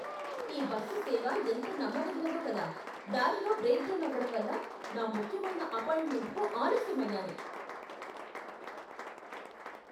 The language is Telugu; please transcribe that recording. ఈ బస్సు సేవ ఎంత నమ్మదగనిదో కదా! దారిలో బ్రేకుడౌన్ అవడంవల్ల నా ముఖ్యమైన అపాయింట్మెంట్కు ఆలస్యం అయ్యాను!